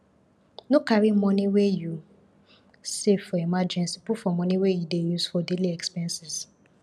no carry money wey you safe for emergency put for money wey you dey use for daily expenses